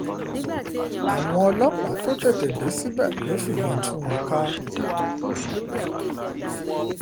àwọn ọlọ́pàá tó tètè dé síbẹ̀ ló fìbọn tú wọn ká